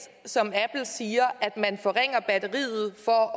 som apple siger at man forringer batteriet for at